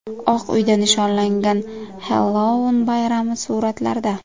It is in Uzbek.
Oq uyda nishonlangan Xellouin bayrami suratlarda.